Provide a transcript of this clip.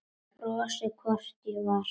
Ég brosti, hvort ég var!